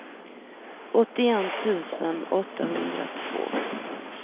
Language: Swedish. åttioett tusen åttahundratvå